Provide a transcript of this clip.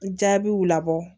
Jaabiw labɔ